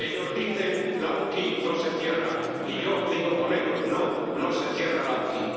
Ellos dicen Lauki no se cierra y yo digo con ellos no, no se cierra Lauki.